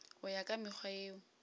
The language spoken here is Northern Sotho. go ya ka mekgwa yeo